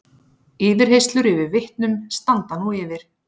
Yfirheyrslur yfir vitnum standa nú yfir